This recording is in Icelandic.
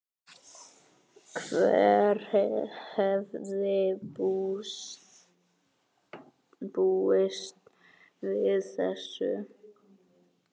Hver hefði búist við þessu?